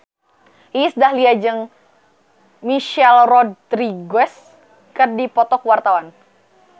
Iis Dahlia jeung Michelle Rodriguez keur dipoto ku wartawan